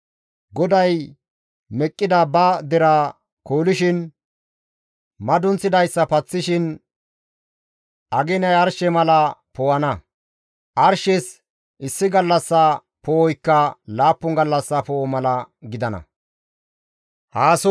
GODAY meqqida ba deraa koolishin, madunththidayssa paththishin, aginay arshe mala poo7ana. Arshes issi gallassa poo7oykka laappun gallassa poo7o mala gidana.